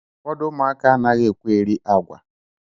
Ụfọdụ ụmụaka anaghị ekwe eri agwa